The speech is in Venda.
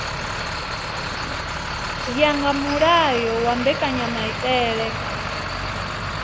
ya nga mulayo wa mbekanyamaitele